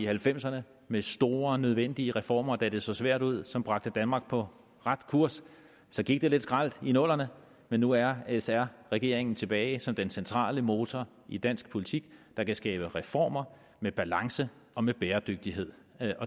halvfemserne med store nødvendige reformer da det så svært ud som bragte danmark på ret kurs så gik det lidt skralt i nullerne men nu er sr regeringen tilbage som den centrale motor i dansk politik der kan skabe reformer med balance og med bæredygtighed